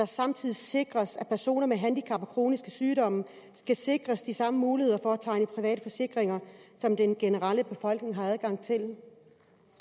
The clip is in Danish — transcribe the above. samtidig sikres at personer med handicap og kroniske sygdomme skal sikres de samme muligheder for at tegne private forsikringer som den generelle befolkning har adgang til